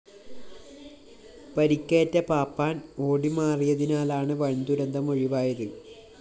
പരിക്കേറ്റ പാപ്പാന്‍ ഓടിമാറിയതിനാലാണ് വന്‍ദുരന്തം ഒഴിവായത്